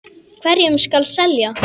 Hverjum skal selja?